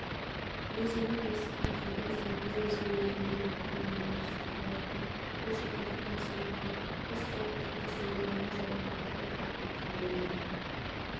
өзінің осы байқаудан соң мүлде өзгермегенін айтқан ернар садырбаевтың польшадан келген сұлуға көз салып тіпті зорлағаны жайлы ақпарат тарап кеткен болатын